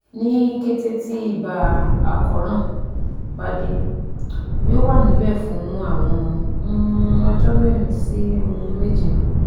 Ni kete ti iba akoran ba de, yoo wa nibẹ fun awọn um ọjọ merin si um meje